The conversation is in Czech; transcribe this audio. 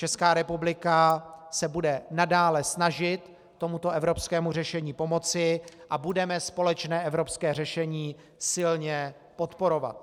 Česká republika se bude nadále snažit tomuto evropskému řešení pomoci a budeme společné evropské řešení silně podporovat.